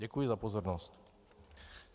Děkuji za pozornost.